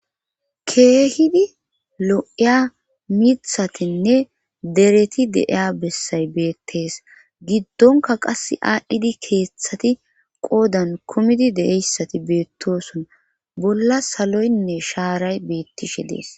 Keehidi lo'iya mithatinne dereti deeya bessay beettees giddonka qass aadhdhidi keeththati qoodan kumidi deeyssati beettoson bolla saloynne shaaray beettishe dees.